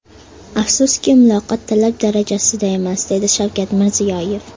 Afsuski, muloqot talab darajasida emas”, dedi Shavkat Mirziyoyev.